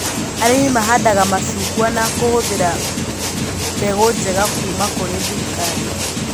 Arĩmi mahandaga macungwa na kũhũthĩra mbeg njega kuma kũrĩ thirikari